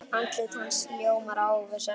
Andlit hans ljómar af óvissu.